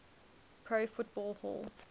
pro football hall